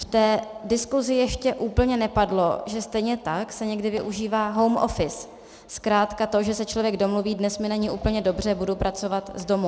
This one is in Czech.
V té diskusi ještě úplně nepadlo, že stejně tak se někdy využívá home office, zkrátka to, že se člověk domluví - dnes mi není úplně dobře, budu pracovat z domu.